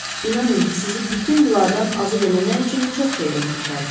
İnanın ki, sizi bütün bunlardan azad eləmək üçün çox şeydən keçərdim.